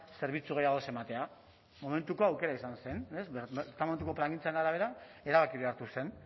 zerbitzu gehiago ez ematea momentuko aukera izan zen plangintzaren arabera erabakia hartu zen